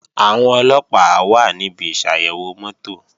Àwọn Ọlọ́pàá wà níbi ìsàyẹ̀wò mọ́tò